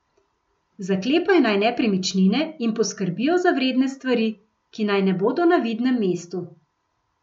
Zaklepajo naj nepremičnine in poskrbijo za vredne stvari, ki naj ne bodo na vidnem mestu.